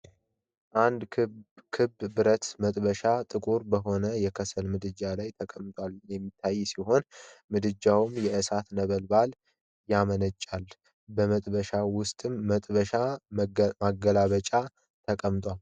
አንድ ክብ ብረት መጥበሻ ጥቁር በሆነ የከሰል ምድጃ ላይ ተቀምጦ የሚታይ ሲሆን፣ ምድጃውም የእሳት ነበልባል ያመነጫል። በመጥበሻው ውስጥ መጥበሻ መገልበጫ ተቀምጠዋል።